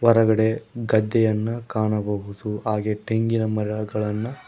ಹೊರಗಡೆ ಗದ್ದೆಯನ್ನು ಕಾಣಬಹುದು ಹಾಗೆ ತೆಂಗಿನ ಮರಗಳನ್ನು--